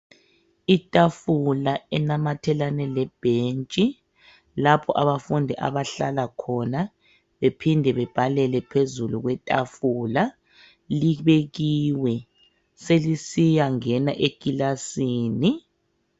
Itafula enamathelane lebhentshi lapho abafundi abahlala khona bephinde bebhalele phezulu kwetafula libekiwe. Selisiyangena ekilasini.